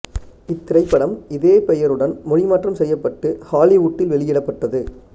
இத்திரைப்படம் இதே பெயருடன் மொழி மாற்றம் செய்யப்பட்டு ஹாலிவூட்டில் வெளியிடப்பட்டது